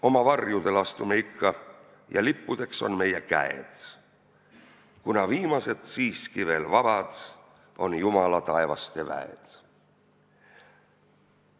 Oma varjudel astume ikka ja lippudeks on meie käed, kuna viimased siiski veel vabad on Jumala taevaste mäed.